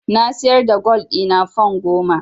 Na siyar da gwal ɗina fan goma.